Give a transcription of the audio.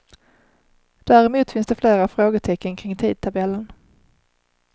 Däremot finns det flera frågetecken kring tidtabellen.